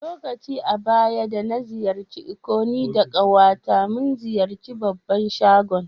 Lokaci da baya da na ziyace Ikko ni da abokiya ta mun ziyace babban shagon.